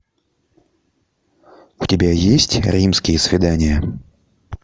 у тебя есть римские свидания